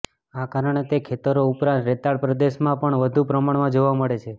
આ કારણે તે ખેતરો ઉપરાંત રેતાળ પ્રદેશમાં પણ વધુ પ્રમાણમાં જોવા મળે છે